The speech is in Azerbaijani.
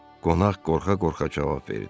Qonaq qorxa-qorxa cavab verdi.